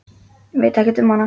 Veit ekkert um hana.